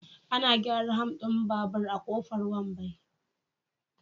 Ana gyara ham din babur a Kofar Wambai.